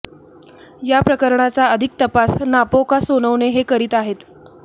या प्रकरणाचा अधिक तपास नापोकॉ सोनवणे हे करीत आहेत